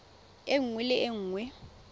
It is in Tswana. e nngwe le e nngwe